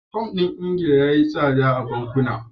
Fam ɗin Ingila ya yi tsada a bankuna.